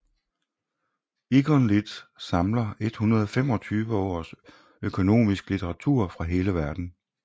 EconLit samler 125 års økonomiske litteratur fra hele verden